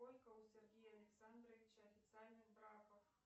сколько у сергея александровича официальных браков